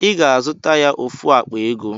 I ga-azụta ya ofu akpa ego